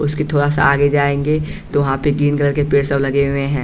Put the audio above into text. उसके थोड़ा सा आगे जाएंगे तो वहाँ पे ग्रीन कलर के पेड़ सब लगे हुए हैं।